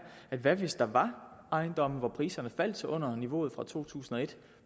hvad hvis der var ejendomme for hvilke priserne faldt til under niveauet for to tusind og et